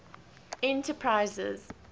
enterprises